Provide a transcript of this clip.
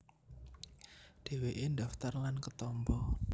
Dhèwèké ndhaftar lan ketampa